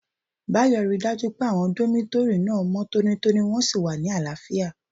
Báyò ríi dájú pé àwọn dómítórì náà mọ́ tónítóní wọ́n sì wà ní àlàáfíà